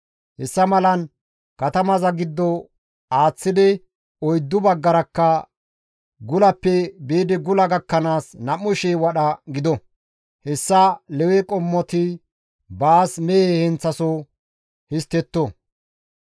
Hessa malan katamaza giddo aaththidi oyddu baggarakka gulappe biidi gula gakkanaas 2,000 wadha gido; hessa Lewe qommoti baas mehe heenththasoho histtetto.